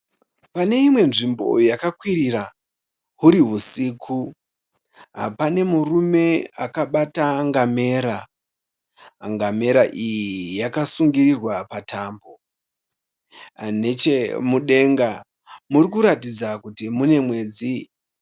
Pane imwe nzvimbo yakakwirira huri husiku. Pane murume akabata ngamera. Ngamera iyi yakasungirirwa patambo. Nechemudenga muri kuratidza kuti mune mwedzi.